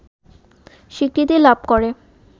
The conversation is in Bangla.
স্বীকৃতি লাভ করে